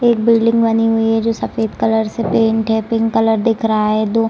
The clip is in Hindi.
एक बिल्डिंग बनी हुई है जो सफेद कलर से पेंट है पिंक कलर से दिख रहा है दो --